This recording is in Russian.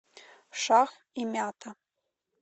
шах и мята